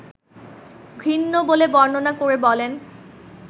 ঘৃণ্য বলে বর্ণনা করে বলেন